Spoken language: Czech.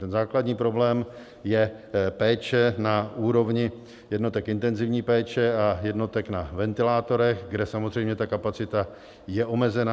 Ten základní problém je péče na úrovni jednotek intenzivní péče a jednotek na ventilátorech, kde samozřejmě ta kapacita je omezená.